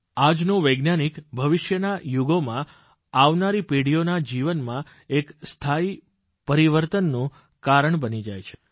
આજનો વૈજ્ઞાનિક ભવિષ્યના યુગોમાં આવનારી પેઢીઓના જીવનમાં એક સ્થાયી પરિવર્તનનું કારણ બની જાય છે